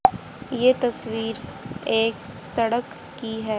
ये तस्वीर एक सड़क की है।